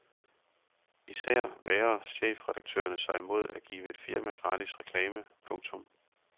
Især vægrer chefredaktørerne sig imod at give et firma gratis reklame. punktum